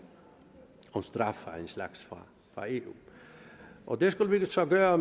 straf af en slags fra eu og det skulle vi så gøre